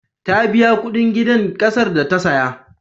Ta biya kuɗin gidan ƙasar da ta saya.